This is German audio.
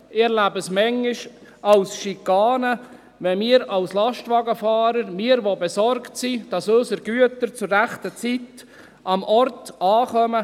Ich erlebe es manchmal als Schikane, wenn wir als Lastwagenfahrer belästigt werden – wir, die wir besorgt sind, dass unsere Güter zur richtigen Zeit am Ort ankommen.